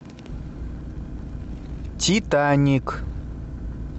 титаник